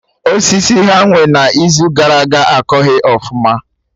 Osisi ha nwee na Izu gara aga akọghị ọfụma